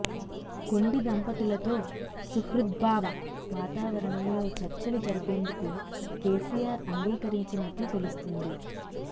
కొండి దంపతులతో సుహృద్భావ వాతావరణంలో చర్చలు జరిపేందుకు కెసిఆర్ అంగీకరించినట్లు తెలుస్తుంది